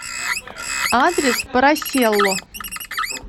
адрес пороселло